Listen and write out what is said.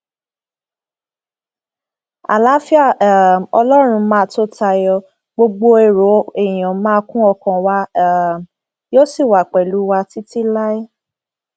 àlàáfíà um ọlọrun máa tó tayọ gbogbo èrò èèyàn máa kún ọkàn wa um yóò sì wà pẹlú wa títí láé